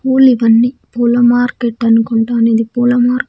పూలు ఇవన్నీ పూల మార్కెట్ అనుకుంటాను ఇది పూల మార్క--